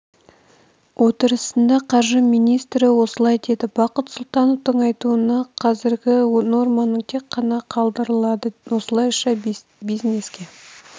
отырысында қаржы министрі осылай деді бақыт сұлтановтың айтуынша қазіргі норманың тек ғана қалдырылады осылайша бизнеске